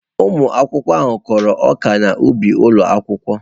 Ụmụ akwụkwọ ahụ kụrụ ọka n'ubi ụlọ akwụkwọ.